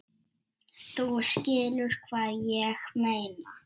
Þú skilur hvað ég meina.